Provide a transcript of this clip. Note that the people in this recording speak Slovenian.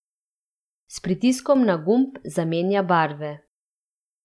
S pritiskom na gumb zamenja barve.